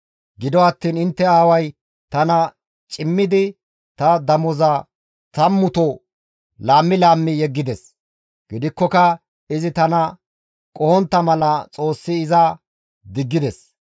Gido attiin intte aaway tana cimmidi ta damoza tammuto laammi laammi yeggides; gidikkoka izi tana qohontta mala Xoossi iza diggides.